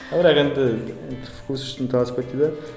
бірақ енді енді вкус үшін таласпайды дейді ғой